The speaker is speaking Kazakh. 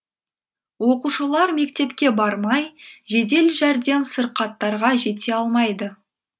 оқушылар мектепке бармай жедел жәрдем сырқаттарға жете алмайды